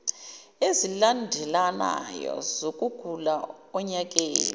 ezilandelanayo zokugula onyakeni